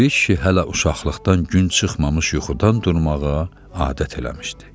Piri kişi hələ uşaqlıqdan gün çıxmamış yuxudan durmağa adət eləmişdi.